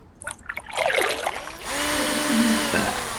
способ убийства